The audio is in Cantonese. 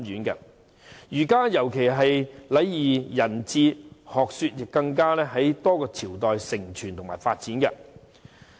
儒家的仁義禮智學說尤其在多個朝代得以承傳及發展。